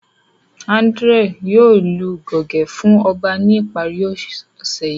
Andrew yoo lu goge fun ọba ni ipari ose yii.